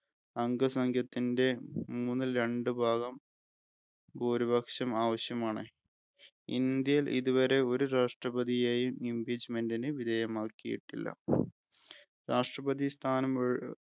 അംഗസംഖ്യത്തിൻ്റെ മൂന്നിൽ രണ്ടു ഭാഗം ഭൂരിപക്ഷം ആവശ്യമാണ്. ഇന്ത്യയിൽ ഇതുവരെ ഒരു രാഷ്ട്രപതിയെയും Impeachment വിധേയമാക്കിയിട്ടില്ല. രാഷ്‌ട്രപതി സ്ഥാനം